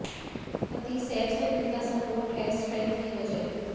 पति सैफ से मिलता सपोर्ट है स्ट्रेंथ की वजह